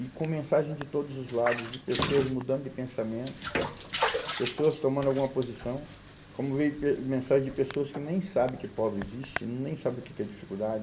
e com mensagem de todos os lados, de pessoas mudando de pensamento, pessoas tomando alguma posição, como veio eh mensagem de pessoas que nem sabem que pobre existe, nem sabem o que que é dificuldade.